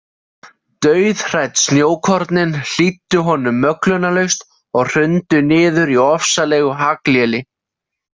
Dauðhrædd snjókornin hlýddu honum möglunarlaust og hrundu niður í ofsalegu hagléli.